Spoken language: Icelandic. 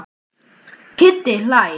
Kiddi hlær.